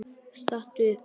Stattu upp!